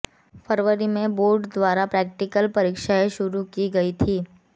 फरवरी में बोर्ड द्वारा प्रैक्टिकल परीक्षाएं शुरू की गई थीं